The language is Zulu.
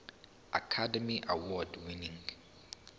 academy award winning